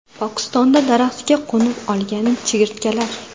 Pokistonda daraxtga qo‘nib olgan chigirtkalar.